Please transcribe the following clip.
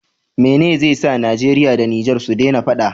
Mene ze sa nigeria da niger sudena faɗa